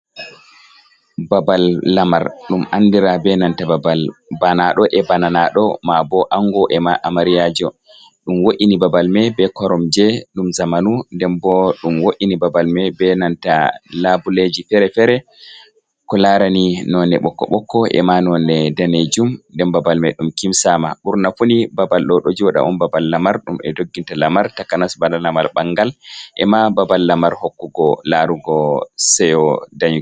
Babal lamar ɗum andira be nanta babal banaɗo e bananaɗo mabo ango ema amariyajo, ɗum wo’ini babal mai be koromje ɗum zamanu nden bo ɗum wo’ini babal mai be nanta labuleji fere-fere, ko larani none ɓokko ɓokko ema none daneejum, nden babal mai ɗum kimsama ɓurnafuni babal ɗo ɗo jooɗa on babal lamar ɗum e dogginta lamar takanas bana lamal bangal, ema babal lamar hokkugo larugo ceyo dayeki.